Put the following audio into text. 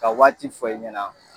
Ka waati fɔ i ɲɛna.